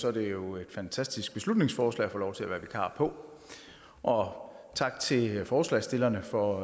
er det jo et fantastisk beslutningsforslag at få lov til at være vikar på og tak til forslagsstillerne for